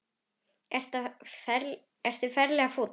Ertu ferlega fúll?